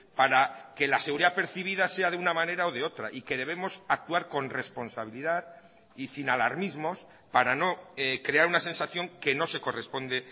para que la seguridad percibida sea de una manera o de otra y que debemos actuar con responsabilidad y sin alarmismos para no crear una sensación que no se corresponde